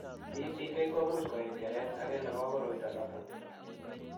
PPK komuch koek keret age nebo koroito noto.